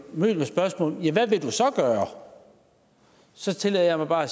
mødt med spørgsmålet hvad vil du så gøre så tillader jeg mig bare at